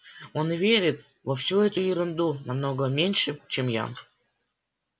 он верит во всю эту ерунду намного меньше чем я